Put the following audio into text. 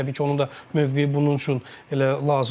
təbii ki, onun da mövqeyi bunun üçün elə lazımdır.